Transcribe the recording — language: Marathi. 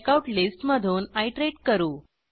चेकआउट लिस्ट मधून आयटरेट करू